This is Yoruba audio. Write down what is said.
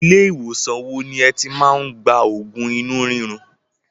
Ilé ìwòsàn wo ni ẹ ti máa ń gba oògùn inú rírun?